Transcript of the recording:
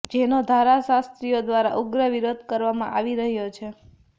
જેનો ધારાશાસ્ત્રીઓ દ્વારા ઉગ્ર વિરોધ કરવામાં આવી રહ્યો છે